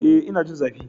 Ee, ina jin zafi.